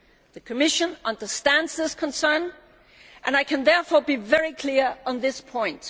The Commission understands this concern, and I can therefore be very clear on this point.